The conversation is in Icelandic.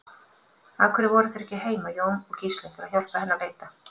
Af hverju voru þeir ekki heima, Jón og Gísli, til að hjálpa henni að leita?